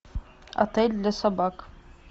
отель для собак